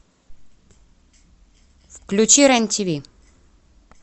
включи рен тв